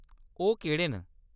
ओह्‌‌ केह्‌‌ड़े न ?